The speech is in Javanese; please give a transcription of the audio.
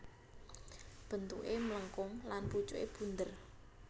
Bentuké mlengkung lan pucuké bunder